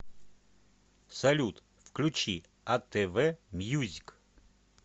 салют включи а тэ вэ мьюзик